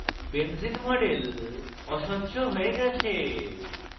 লক্ষ্য করুন যে benzene model অস্বচ্ছ হয়ে গেছে